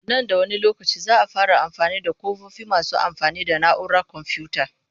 Nan da wani lokaci za a fara amfani da ƙofofi masu amfani da na'urar komfuyuta